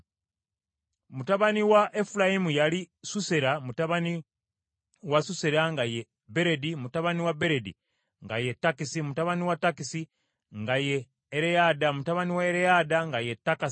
Mutabani wa Efulayimu yali Susera, mutabani wa Susera nga ye Beredi, mutabani wa Beredi nga ye Takasi, mutabani wa Takasi nga ye Ereyadda, mutabani wa Ereyadda nga ye Takasi,